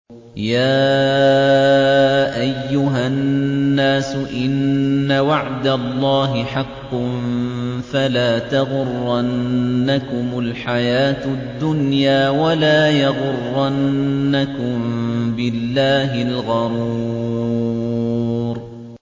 يَا أَيُّهَا النَّاسُ إِنَّ وَعْدَ اللَّهِ حَقٌّ ۖ فَلَا تَغُرَّنَّكُمُ الْحَيَاةُ الدُّنْيَا ۖ وَلَا يَغُرَّنَّكُم بِاللَّهِ الْغَرُورُ